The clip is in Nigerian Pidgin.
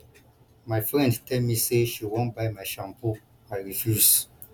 my friend tell me say she wan buy my shampoo i refuse